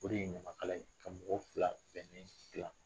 O de ye ɲamakala ye ka mɔgɔ fila bɛnnen siran.